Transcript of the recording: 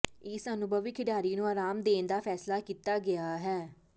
ਇਸ ਅਨੁਭਵੀ ਖਿਡਾਰੀ ਨੂੰ ਆਰਾਮ ਦੇਣ ਦਾ ਫੈਸਲਾ ਕੀਤਾ ਗਿਆ ਹੈ